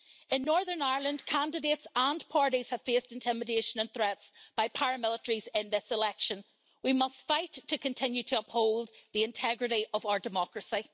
In Northern Ireland candidates and parties have faced intimidation and threats by paramilitaries in this election, we must fight to continue to uphold the integrity of our democracy.